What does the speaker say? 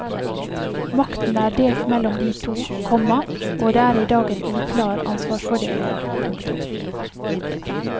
Makten er delt mellom de to, komma og det er i dag en uklar ansvarsfordeling. punktum